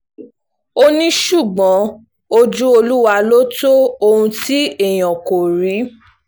ó ní ṣùgbọ́n ojú olúwa ló tọ́ ohun tí èèyàn kò rí